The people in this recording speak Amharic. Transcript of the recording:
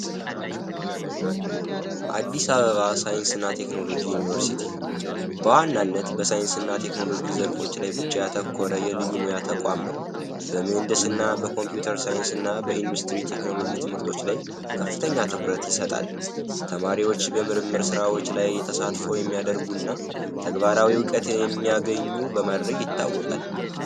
አዲስ አበባ ሳይንስ እና ቴክኖሎጂ ዩኒቨርሲቲ በዋናነት በሳይንስ እና ቴክኖሎጂ ዘርፎች ላይ ብጫ ያተኮረ የልዩሙ ያተቋም ነው በምንድስ እና በኮምፒውተር ሳይንስ እና በኢንዱስትሪ ቴክኖሎጂ ትምህርቶች ላይ ከፍተኛ ትኩረት ይሰጣል ተማሪዎች በምርምር ሥራዎች ላይ የተሳትፎው የሚያደርጉ እና ተግባራዊ ውቀት የሚያገኙ በማድረግ ይታወቃል።